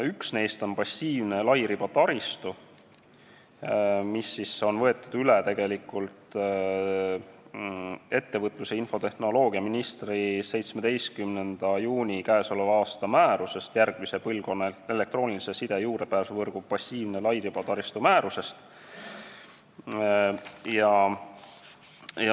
Üks neist on passiivne lairibataristu, mis on tegelikult üle võetud ettevõtlus- ja infotehnoloogiaministri k.a 17. juuni määrusest, mis käsitleb järgmise põlvkonna elektroonilise side juurdepääsuvõrgu passiivset lairibataristut.